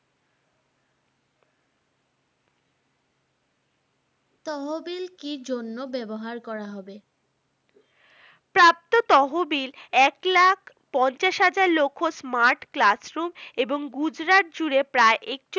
তহবিল কি জন্য ব্যবহার করা হবে? তহবিল এক লক্ষ পঞ্চাশ হাজার smart classroom এবং গুজরাট জুড়ে প্রায়